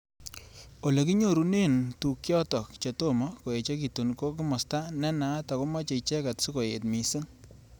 Olekinyorune tukyotok chetomo koechekitu ko kimosta nenaat ako moche icheket sikoet missing.